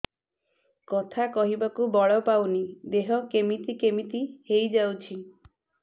କଥା କହିବାକୁ ବଳ ପାଉନି ଦେହ କେମିତି କେମିତି ହେଇଯାଉଛି